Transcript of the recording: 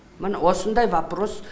міне осындай вопрос